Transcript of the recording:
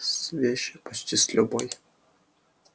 с вещью почти с любой